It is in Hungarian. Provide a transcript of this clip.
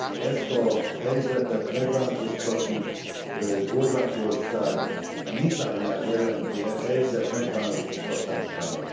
Ezt a helyzetet megváltoztatni Horvátország nyitányát jelenti e helyzet megváltoztatásának.